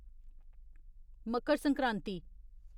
Makar Sankranti